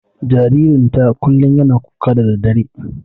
Jaririn ta kullum yana kuka da daddare.